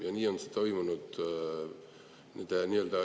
Ja nii on see toimunud.